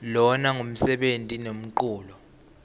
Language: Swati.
lona ngumsebeni nemculo